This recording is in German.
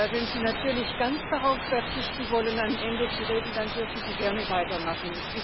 Wenn Sie natürlich ganz darauf verzichten wollen, am Ende zu reden, dann dürfen Sie gerne weitermachen.